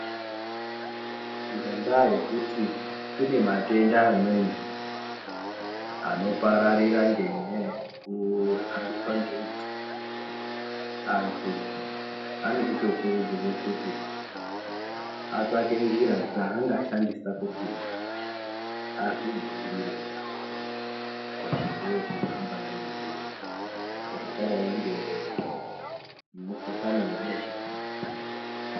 Ngendaa yekuti kune matenda amweni anopararira ngenyaya yekuhambiswa ngedutu antu anochitokurudzirwa kuti atsvake njira dzaangashandisa kuti azvidzivirire pazvirwere zvinohamba ngedutu zvakadai gemukuhlani webesha.